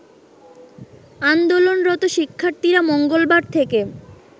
আন্দোলনরত শিক্ষার্থীরা মঙ্গলবার থেকে